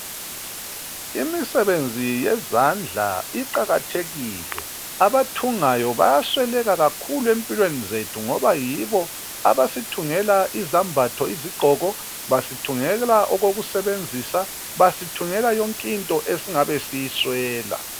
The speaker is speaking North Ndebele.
Imisebenzi yezandla iqakathekile. Abathungayo bayasweleka kakhulu empilweni zethu ngoba yibo abasithungela izambatho iziggqoko, basithungela okokusebenzisa, basithungela yonke into esingabe siyiswela.